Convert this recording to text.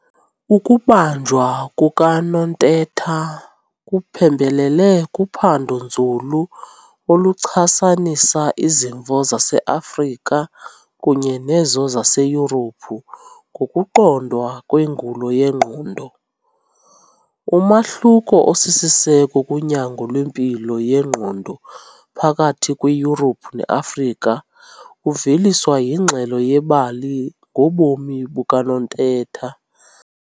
Ukubanjwa kukaNontetha kuphembelele kuphando-nzulu oluchasanisa izimvo zaseAfrica kunye nezo zaseYurophu ngokuqondwa kwengulo yengqondo. Umahluko osisiseko kunyango lwempilo yengqondo phakathi kweYurophu neAfrika uveliswa yingxelo yebali ngobomi bukaNontetha.